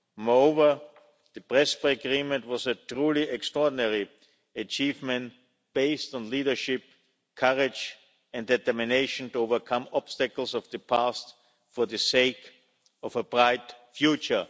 Moreover, the Prespa Agreement was a truly extraordinary achievement based on leadership, courage and determination to overcome obstacles of the past for the sake of a bright future.